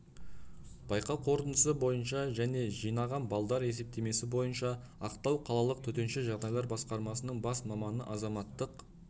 байқау қорытындысы бойынша және жинаған балдар есептемесі бойынша ақтау қалалық төтенше жағдайлар басқармасының бас маманы азаматтық